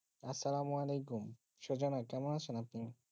আসলাম ওয়ালেকুম সুজানা কেমন আছো আপনি?